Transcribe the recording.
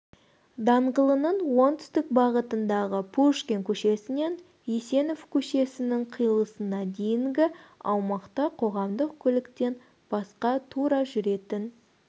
даңғылының оңтүстік бағытындағы пушкин көшесінен есенов көшесінің қиылысына дейінгі аумақта қоғамдық көліктен басқа тура жүретін